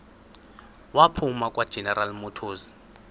waphuma kwageneral motors